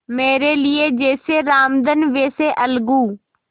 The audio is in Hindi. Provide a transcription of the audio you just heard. मेरे लिए जैसे रामधन वैसे अलगू